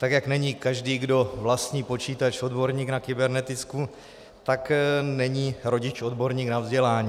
Tak jak není každý, kdo vlastní počítač, odborník na kybernetiku, tak není rodič odborník na vzdělání.